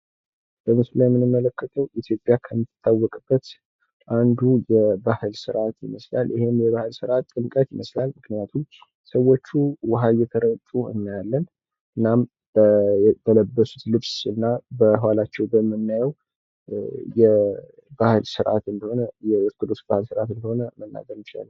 በምስሉ ላይ የምንመለከተው ኢትዮጵያ ከምትታወቅበት አንዱ የባህል ስርዓት ይመስላል ።ይህም የባህል ስርዓት ጥምቀት ይመስላል ምክንያቱም ሰዎቹ ውሀ እየተረጩ እናያለን ።እናም በለበሱት ልብስ እና በዃላቸው በምናየው የባህል ስርዓት እንደሆነ የኦርቶዶክስ ባህል ስርዓት እንደሆነ መናገር እንችላለን ።